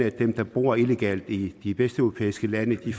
at dem der bor illegalt i de vesteuropæiske lande de